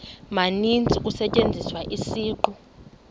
maninzi kusetyenziswa isiqu